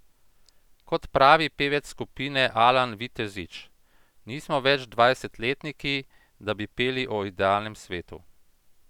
Kot pravi pevec skupine Alan Vitezič: 'Nismo več dvajsetletniki, da bi peli o idealnem svetu.